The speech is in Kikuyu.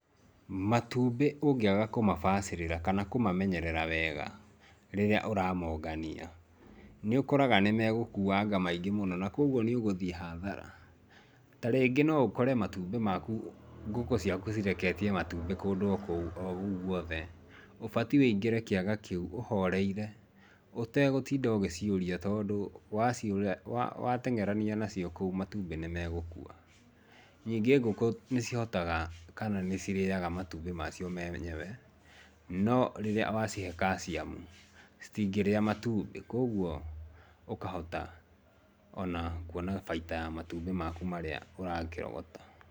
Matumbĩ ũngĩaga kũmabacĩrĩra kana kũmamenyerera wega rĩrĩa ũramongania nĩũkoraga nĩmegũkuanga maingĩ mũno na kwoguo nĩũgũthiĩ hathara, tarĩngĩ noũkore matumbĩ maku ngũkũ ciaku cireketie matumbĩ kũndũ kũu o guothe ũbatie wĩingĩre kĩaga kĩu ũhoreire utegũtinda ũgiciũria tondũ wateng'erania nacio kũu matumbĩ nĩmegũkua níngĩ ngũkũ nĩcihotaga kana nĩcirĩaga matumbĩ macio me enyewe no rĩrĩa wacihe calcium citingĩrĩa matumbĩ kwoguo ũkahota ona kuona baita ya matumbĩ maku marĩa ũrakĩrogota.